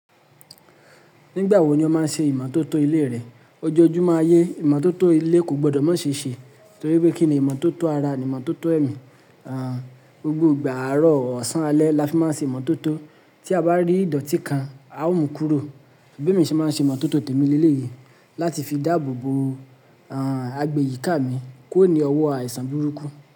Nígbà wo ni ó máa ṣe ìmótótó ilé rẹ? Ojoojúmọ́ ayé ìmótótó ilé kò gbọdọ̀ má ṣe ṣe torí pé kí ni ìmótótó ara ni ìmótótó ẹ̀mí. Àn, gbogbo ìgbà àárọ̀, ọ̀sán, alẹ́ la fi máa ń ṣe ìmótótó. Tí a bá rí ìdọ̀tí kan, a ó mú kúrò. B'emi mi ṣé máa ń ṣe ìmótótó tèmi ní ilé yìí láti fi dáàbò bo, àn, agbèyìká mi kuro ni ọwọ́ àìsàn burúkú.